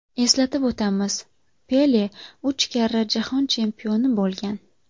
Eslatib o‘tamiz, Pele uch karra jahon chempioni bo‘lgan.